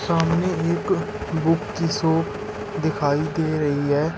सामने एक बुक की शॉप दिखाई दे रही है।